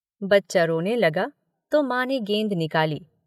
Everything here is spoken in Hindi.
बच्चा रोने लगा तो मां ने गेंद निकाली।